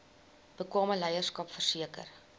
bekwame leierskap verseker